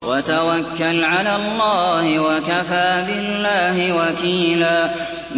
وَتَوَكَّلْ عَلَى اللَّهِ ۚ وَكَفَىٰ بِاللَّهِ وَكِيلًا